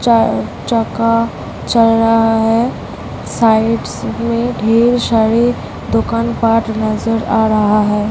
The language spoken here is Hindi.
चल रहा है साइड्स में ढेर सारी दुकान नजर आ रहा है।